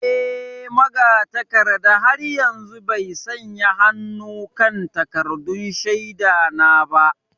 Eh, magatakarda har yanzu bai sanya hannu kan takaddun shaida na ba.